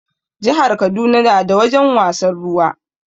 Jihar Kaduna na da wajen wasan ruwa